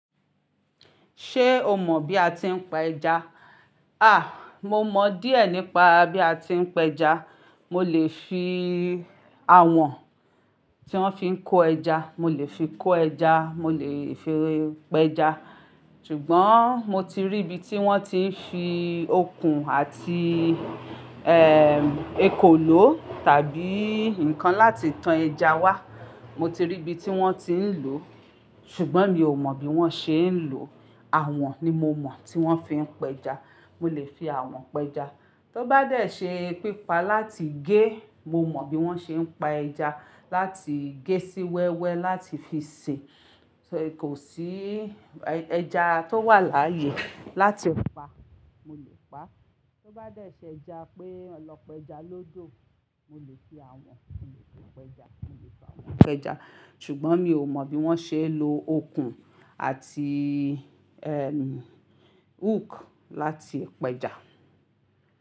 Ṣé o mọ̀ bí a ti ń pa ẹja? À, mo mọ̀ díẹ̀ nípa bí a ti ń pẹja. Mo lè fi awọ̀n tí wọ́n fi ń kó ẹja, mo lè fi kó ẹja, mo lè fi pẹja. Ṣùgbọ́n mo ti rí ibi tí wọ́n ti ń fi okùn àti, ẹm, ekòló tàbí nǹkan láti tan ẹja wá. Mo ti rí ibi tí wọ́n ti ń lò ó, ṣùgbọ́n mi ò mọ̀ bí wọ́n ṣe ń lò ó. Awọ̀n ni mo mọ̀ tí wọ́n fi ń pẹja. Mo lè fi awọ̀n pẹja. Tó bá dẹ́ẹ̀ ṣe pípa láti gé, mo mọ̀ bí wọ́n ṣe ń pa ẹja láti gé sí wẹ́wẹ́ láti fi sè. Kò sí ẹja tó wà láyé láti pa, mo lè pa. Tó bá dẹ́ẹ̀ ṣe ẹja pé ọlọ́pẹja lódo. Mo lè fi awọ̀n, mo lè pẹja, mo lè pa wọn pẹja. Ṣùgbọ́n mi ò mọ̀ bí wọ́n ṣe ń lo okùn àti, ẹm, hook láti pẹja.